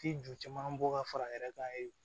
Ti ju caman bɔ ka fara a yɛrɛ kan ye